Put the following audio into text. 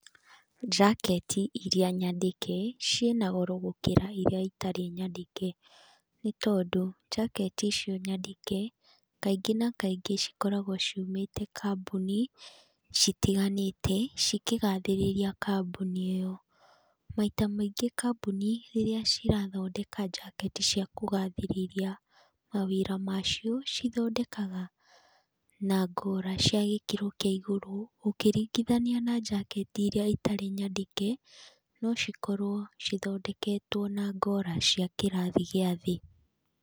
Njaketi iria nyandĩke ciĩna goro gũkĩra iria itarĩ nyandĩke, nĩ tondũ njaketi icio nyandĩke kaingĩ na kaingĩ cikoragwo ciumĩte kambuni citiganĩte cikĩgathĩrĩria kambuni ĩyo. Maita maingĩ kambuni rĩrĩa cirathondeka njaketi cia kũgathĩrĩria mawĩra ma cio cithondekaga na ngora cia gĩkĩro kia igũrũ, ũkĩringithania na njaketi iria itarĩ nyandĩke no cikorwo cithondeketwo na ngora cia gĩkĩro gĩa thĩ.